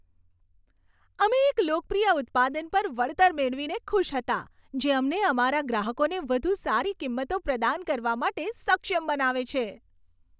અમે એક લોકપ્રિય ઉત્પાદન પર વળતર મેળવીને ખુશ હતા, જે અમને અમારા ગ્રાહકોને વધુ સારી કિંમતો પ્રદાન કરવા માટે સક્ષમ બનાવે છે.